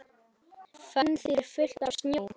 Fönn þýðir fullt af snjó.